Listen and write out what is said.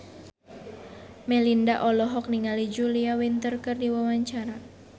Melinda olohok ningali Julia Winter keur diwawancara